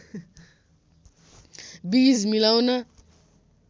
बीज मिलाउन